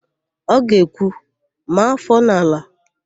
Ọ ga-ekwu, "maa áfọ̀ n'ala"!